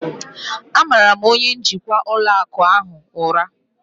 M mara onye njikwa ụlọ akụ ahụ ụra